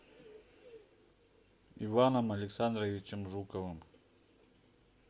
иваном александровичем жуковым